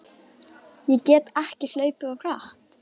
Ég get ekki hlaupið of hratt?